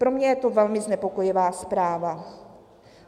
Pro mě je to velmi znepokojivá zpráva.